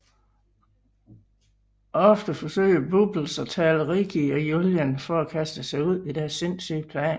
Ofte forsøger Bubbles at tale Ricky og Julian fra at kaste sig ud i deres sindssyge planer